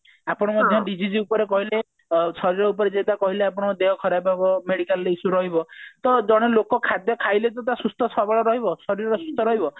ଆପଣ ମଧ୍ୟ dieses ଉପରେ କହିଲେ ଅ ଶରୀର ଉପରେ ଯୋଉଟା କହିଲେ ଆପଣ ଦେହ ଖରାପ ହେବ medical issue ରହିବ ତ ଜଣେ ଲୋକ ଖାଦ୍ଯ ଖାଇଲେ ତ ସିଏ ସୁସ୍ଥ ସବଳ ରହିବ ଶରୀର ସୁସ୍ଥ ରହିବ